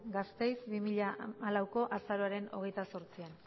gasteiz dos mil catorceeko azaroaren hogeita zortzian